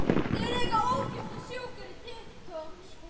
Íslensk síða um skíði